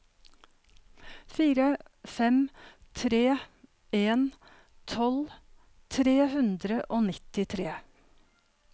fire fem tre en tolv tre hundre og nittitre